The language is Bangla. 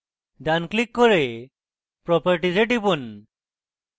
properties এ টিপুন